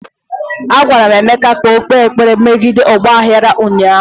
Agwara m Emeka ka o kpee ekpere megide ọgba aghara ụnyaahụ!